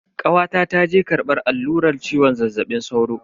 Kawata ta je karbar alluran ciwon zazzabin sauro.